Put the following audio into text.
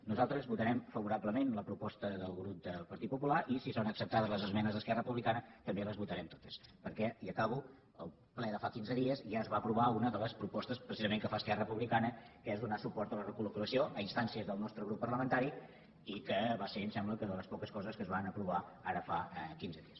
nosaltres votarem favorablement la proposta del grup del partit popular i si són acceptades les esmenes d’esquerra republicana també les votarem totes perquè i acabo al ple de fa quinze dies ja es va aprovar una de les propostes precisament que fa esquerra republicana que és donar suport a la recolinstàncies del nostre grup parlamentari i que va ser em sembla que de les poques coses que es van aprovar ara fa quinze dies